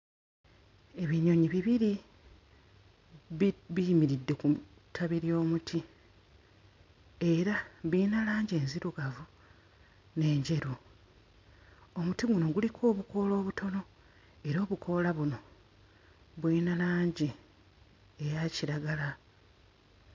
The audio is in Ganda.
Ebinyonyi bibiri bi biyimiridde ku mu ttabi ly'omuti era biyina langi enzirugavu n'enjeru omuti guno guliko obukoola obutono era obukoola buno buyina langi eya kiragala.